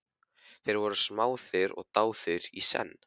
Þeir voru smáðir og dáðir í senn.